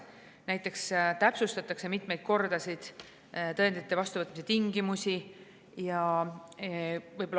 Näiteks täpsustatakse mitmeid kordasid, tõendite vastuvõtmise tingimusi.